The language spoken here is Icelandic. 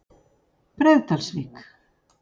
Breiðdalsvík